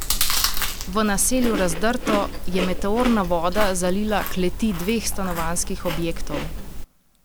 V naselju Razdrto je meteorna voda zalila kleti dveh stanovanjskih objektov.